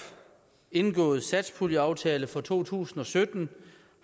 indgåede satspuljeaftale for to tusind og sytten